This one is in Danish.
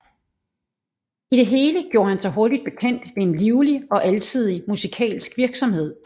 I det hele gjorde han sig hurtig bekendt ved en livlig og alsidig musikalsk virksomhed